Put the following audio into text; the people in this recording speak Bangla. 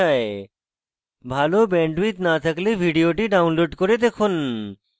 ভাল bandwidth না থাকলে ভিডিওটি download করে দেখুন